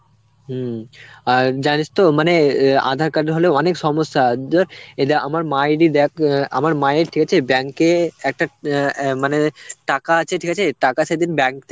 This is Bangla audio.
হম. আর জানিস তো মানে এ aadhar card হলে অনেক সমস্যা দিয়ে এটা আমার মায়েরই দেখ অ্যাঁ আমার মায়ের ঠিক আছে bank এ একটা অ্যাঁ অ্যাঁ মানে টাকা আছে ঠিক আছে, টাকা সেদিন bank